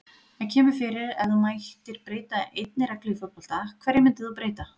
Það kemur fyrir Ef þú mættir breyta einni reglu í fótbolta, hverju myndir þú breyta?